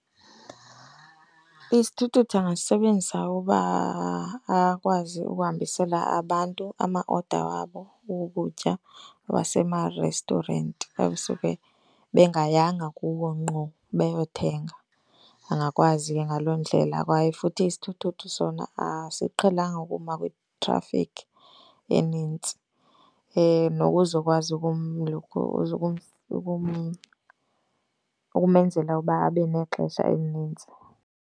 Isithuthuthu angasisebenzisa uba akwazi ukuhambisela abantu ama-order wabo wokutya wasema-restaurant xa besuke bengayanga kuwo ngqo, beyothenga, angakwazi ke ngaloo ndlela. Kwaye futhi isithuthuthu sona asiqhelanga ukuma kwitrafikhi enintsi nokuzokwazi ukumenzela ukuba abe nexesha elinintsi.